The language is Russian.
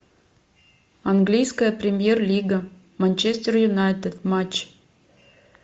английская премьер лига манчестер юнайтед матч